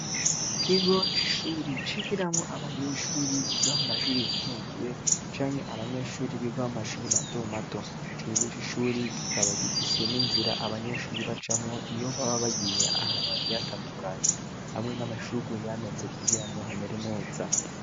Ikigo c'ishuri, cigiramwo abanyeshuri biga mu mashuri yisumbuye, canke abanyeshuri biga mu mashuri mato mato, ico kigo cishuri, kikaba gifise n'inzira abanyeshuri bacamwo, iyo baba bagiye ahantu hagiye hatandukanye; hamwe n'amashurwe yameze kugira ngo hamere neza.